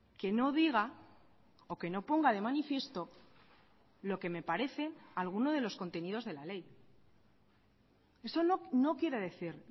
que no diga o que no ponga de manifiesto lo que me parece alguno de los contenidos de la ley eso no quiere decir